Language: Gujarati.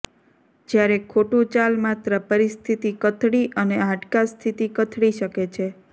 જ્યારે ખોટું ચાલ માત્ર પરિસ્થિતિ કથળી અને હાડકા સ્થિતિ કથળી શકે છે